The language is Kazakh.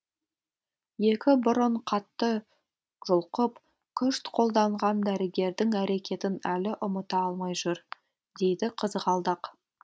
екі бұрын қатты жұлқып күш қолданған дәрігердің әрекетін әлі ұмыта алмай жүр дейді қызғалдақ